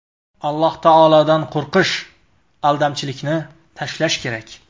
Alloh taolodan qo‘rqish, aldamchilikni tashlash kerak.